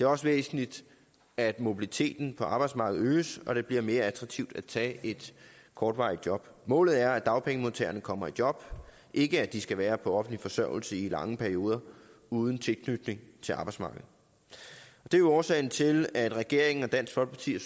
også væsentligt at mobiliteten på arbejdsmarkedet øges og det bliver mere attraktivt at tage et kortvarigt job målet er at dagpengemodtagerne kommer i job ikke at de skal være på offentlig forsørgelse i lange perioder uden tilknytning til arbejdsmarkedet det er årsagen til at regeringen og dansk folkeparti